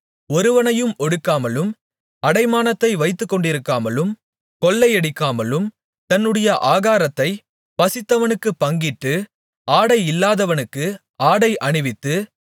ஒருவனையும் ஒடுக்காமலும் அடைமானத்தை வைத்துக்கொண்டிருக்காலும் கொள்ளையடிக்காமலும் தன்னுடைய ஆகாரத்தை பசித்தவனுக்குப் பங்கிட்டு ஆடை இல்லாதவனுக்கு ஆடை அணிவித்து